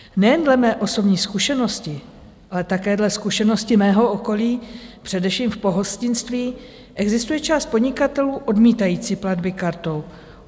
Nejen dle mé osobní zkušenosti, ale také dle zkušeností mého okolí, především v pohostinství existuje část podnikatelů odmítajících platby kartou.